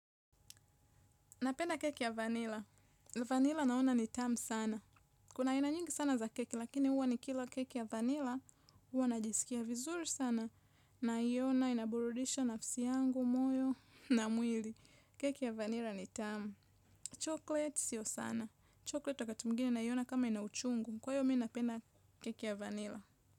Napenda keki ya vanilla. Vanilla naona ni tamu sana. Kuna aina nyingi sana za keki lakini huwa nikila keki ya vanila. Huwa najisikia vizuri sana, naiona inaburudisha nafsi yangu, moyo na mwili. Keki ya vanilla ni tamu. Chocolate sio sana. Chocolate wakati mwingine naiona kama ina uchungu. Kwa hiyo mi napenda keki ya vanilla.